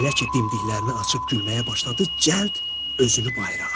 Elə ki dimdiklərini açıb gülməyə başladı, cəld özünü bayıra at.